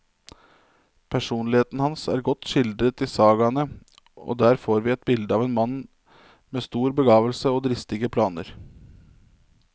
Personligheten hans er godt skildret i sagaene, og der får vi et bilde av en mann med stor begavelse og dristige planer.